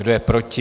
Kdo je proti?